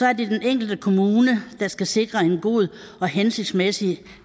er det den enkelte kommune der skal sikre en god og hensigtsmæssig